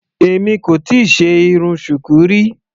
Èmi kò tíì ṣe irun Shuku rí.